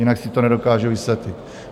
Jinak si to nedokážu vysvětlit.